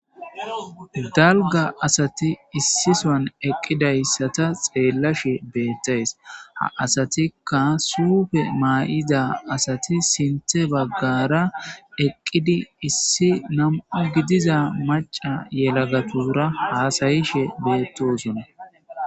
dalga asati issisan eqqidayssata xeellashe beettays ha asatikka suufe maa7iza asati sinte baggara eqqidi issi nam7u gidiza maca yelagatura haasayishe beettosune